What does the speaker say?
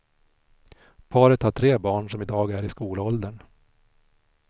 Paret har tre barn som i dag är i skolåldern.